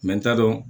n t'a dɔn